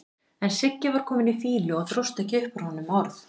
En Siggi var kominn í fýlu og dróst ekki upp úr honum orð.